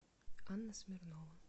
анна смирнова